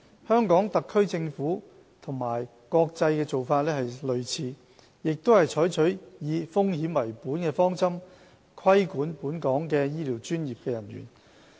香港特區政府與國際做法相似，也是採取以風險為本的方針，規管本港的醫療專業人員。